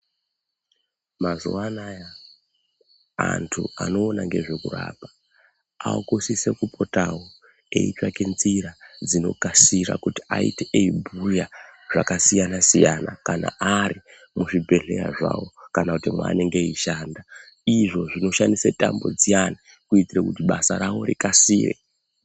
Mazuwa anaya antu anoona ngezvekurapa akusise kupotawo eitsvaka njira dzinokasira kuti aite eibhuya zvakasiyana siyana kana ari muzvibhedhlera zvawo kana kuti mwaanonga eishanda izvo zvinoshandisa tambo dziyani kuitire kuti basa ravo rikasire.